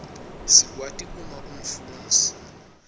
sikwati uma umfundzi